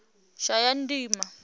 shayandima